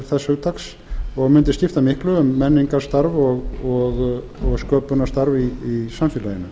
þess hugtaks og mundi skipta miklu um menningarstarf og sköpunarstarf í samfélaginu